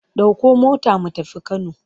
Ɗauko mota mu tafi Kano!